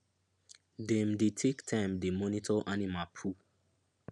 dem dey take time dey monitor animal poo